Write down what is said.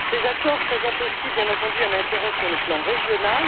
Ces accords présentent aussi, bien entendu, un intérêt sur le plan régional.